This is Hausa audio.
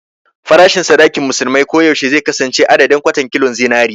Farashin sadakin musulmai ko yaushe zai kasance adadin "kwatan kilon zinari"